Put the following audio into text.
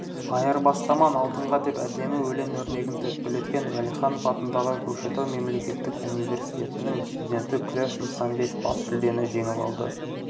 айырбастаман алтынға деп әдемі өлең өрнегін төкпелеткен уәлиханов атындағы көкшетау мемлекеттік универсиетінің студенті күләш нысанбек бас жүлдені жеңіп алды